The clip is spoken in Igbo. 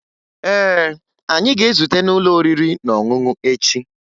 Ee, anyị ga-ezute n'ụlọ oriri na ọṅụṅụ echi